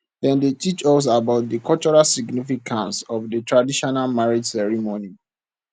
dem dey teach us about di cultural significance of di traditional marriage ceremony